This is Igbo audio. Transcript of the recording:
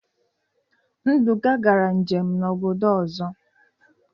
Nduka gara njem na obodo ozo